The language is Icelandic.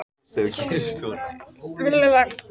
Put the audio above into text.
Indíra, hvað er jörðin stór?